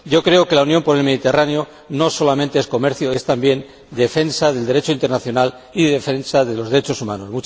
Yo creo que la Unión por el Mediterráneo no solamente es comercio, es también defensa del Derecho internacional y defensa de los derechos humanos.